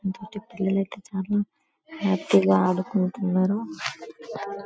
రోజు పిల్లలైతే చాలా హ్యాపీగా ఆడుకుంటున్నారు.